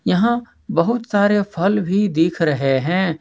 यहां बहुत सारे फल भी दिख रहे हैं।